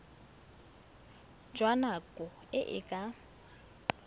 jwa nako e e ka